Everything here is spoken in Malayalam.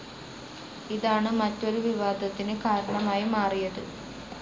ഇതാണ് മറ്റൊരു വിവാദത്തിന് കാരണമായി മാറിയത്.